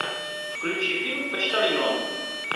включи фильм почтальон